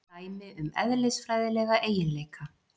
Dæmi um eðlisfræðilega eiginleika.